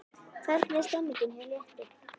Hvernig er stemningin hjá Létti?